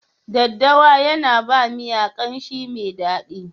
Daddawa yana ba miyan kamshi mai daɗi.